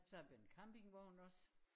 Så har vi en campingvogn også